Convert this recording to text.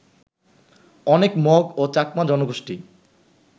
অনেক মগ ও চাকমা জনগোষ্ঠী